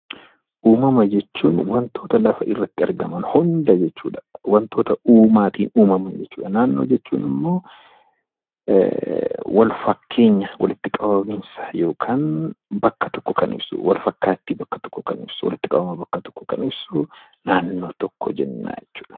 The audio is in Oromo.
Uumama jechuun wantoota lafa irratti argaman hunda jechuudha. Wantoota uumaatiin uumaman jechuudha. Naannoo jechuun ammoo walfakkeenya walitti qabamiinsa yookiin bakka tokko kan ibsu walfakkaattii bakka tokkoo kan ibsu walitti qabama bakka tokkoo kan ibsu naannoo tokko jenna jechuudha.